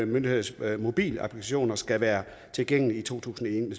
myndigheders mobilapplikationer skal være tilgængelige i to tusind og